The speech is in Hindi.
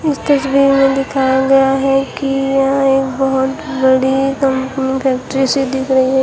इस तस्वीर में दिखाया गया है कि यह एक बहुत बड़ी कंपनी फैक्ट्री सी दिख रही है।